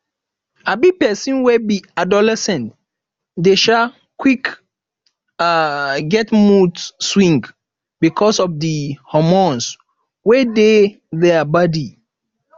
um persin wey be adolescent de um qick um get mood swing because of di hormones wey dey their body